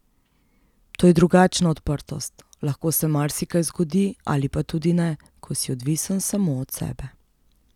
To je drugačna odprtost, lahko se marsikaj zgodi ali pa tudi ne, ko si odvisen samo od sebe.